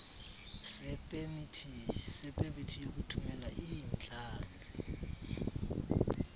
sepemithi yokuthumela iintlanzi